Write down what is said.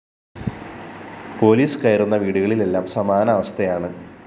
police കയറുന്ന വീടുകളിലെല്ലാം സമാന അവസ്ഥയാണ്